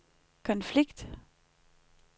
konflikt